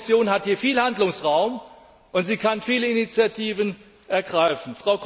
Die Kommission hat hier viel Handlungsspielraum, und sie kann viele Initiativen ergreifen.